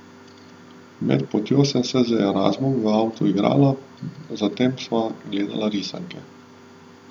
Med potjo sem se z Erazmom v avtu igrala, zatem pa sva gledala risanke.